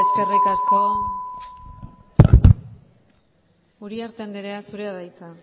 eskerrik asko uriarte andrea zurea da hitza